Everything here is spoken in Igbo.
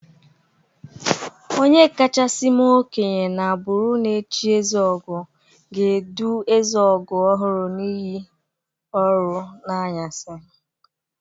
Onye kachasi mee okenye n'agbụrụ na echi ezeogo ga-edu ezeogo ọhụrụ n'iyi ọrụ n'anyasị.